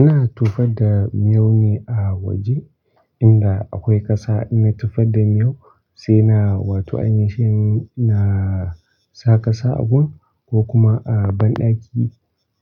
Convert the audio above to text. Ina tofar da miyau ne a waje inda akwai ƙasa. Ina tufar da miyau sai na, wato aynishin, na sa ƙasa agun ko kuma a banɗaki,